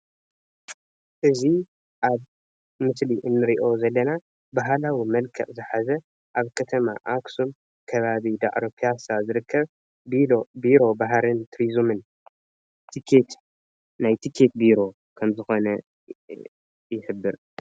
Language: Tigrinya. እዚ ኣብ ምስሊ እንሪኦ ዘለና ባህላዊ መልክዕ ዝሓዘ ኣብ ከተማ አክሱም ከባቢ ዳዕሮ ፒያሳ ዝርከብ ቢሮ ባህልን ቱሪዝምን ናይ ቲኬት ቢሮ ከም ዝኮነ ይሕብር፡፡